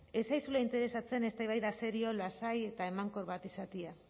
ez zaizula interesatzen eztabaida serio lasai eta emankor bat izatea